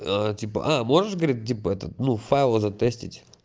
типа можешь говорит типа этот ну файлы затестить